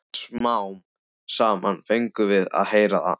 Smám saman fengum við að heyra það.